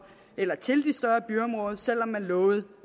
selv om man lovede